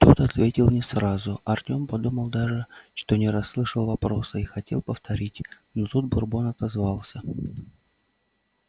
тот ответил не сразу артём подумал даже что не расслышал вопроса и хотел повторить но тут бурбон отозвался